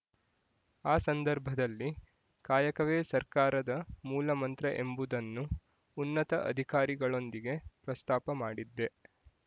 ಆ ಸಂದರ್ಭದಲ್ಲಿ ಕಾಯಕವೇ ಸರ್ಕಾರದ ಮೂಲಮಂತ್ರ ಎಂಬುದನ್ನು ಉನ್ನತ ಅಧಿಕಾರಿಗಳೊಂದಿಗೆ ಪ್ರಸ್ತಾಪ ಮಾಡಿದ್ದೆ